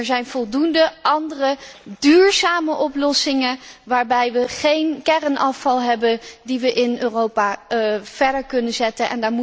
Er zijn voldoende andere duurzame oplossingen waarbij we geen kernafval hebben, die we in Europa verder kunnen inzetten.